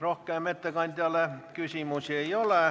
Rohkem ettekandjale küsimusi ei ole.